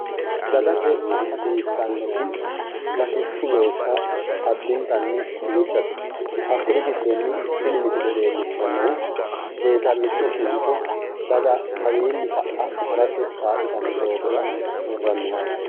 Dagate hasissannoti latishshu loossa addintanni duuchate, hakkuri giddonni tini misile leellishshannohu seessalicho kincho daga kawiinni ka"a harate kaa'litanno doogora worranniha ikkanno.